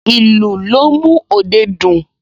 Ìlù ló ń mú òde dùn